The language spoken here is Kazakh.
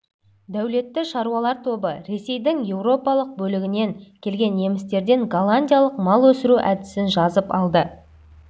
дәулетті шаруалар тобы ресейдің еуропалық бөлігінен келген немістерден голландиялық мал өсіру әдісін жазып алды